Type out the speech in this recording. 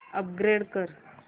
upgrade कर